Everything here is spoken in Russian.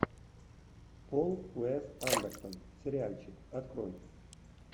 пол уэс андерсон сериальчик открой